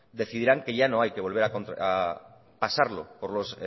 decidirán que ya no hay que volver a pasarlo por los